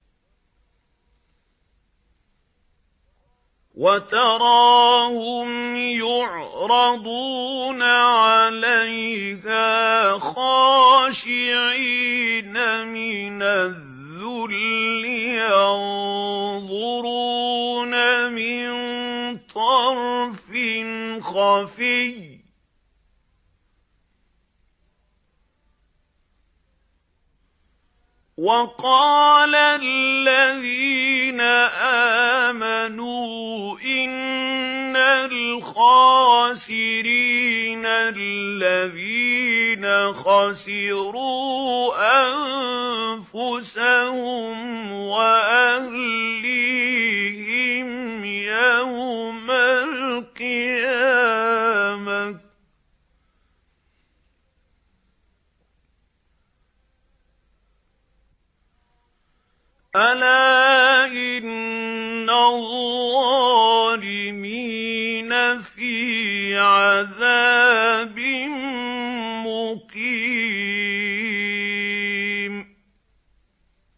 وَتَرَاهُمْ يُعْرَضُونَ عَلَيْهَا خَاشِعِينَ مِنَ الذُّلِّ يَنظُرُونَ مِن طَرْفٍ خَفِيٍّ ۗ وَقَالَ الَّذِينَ آمَنُوا إِنَّ الْخَاسِرِينَ الَّذِينَ خَسِرُوا أَنفُسَهُمْ وَأَهْلِيهِمْ يَوْمَ الْقِيَامَةِ ۗ أَلَا إِنَّ الظَّالِمِينَ فِي عَذَابٍ مُّقِيمٍ